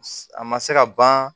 A ma se ka ban